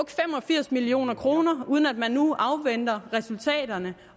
firs million kr uden at man nu afventer resultaterne